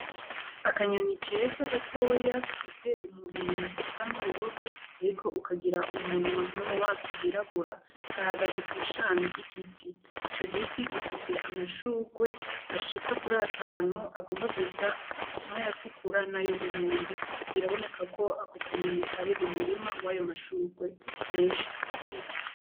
Akanyoni keza gatoya gafise umubiri usa n'ubururu, ariko ukagira umunwa no mu maso hirabura gahagaze kw'ishami ry'igiti ico giti gifise amashurwe ashika kuri atanu agomba gusa n’ayatukura na y’umuhondo, biraboneka ko ako akanyoni kari mu murima wayo mashurwe menshi atukura.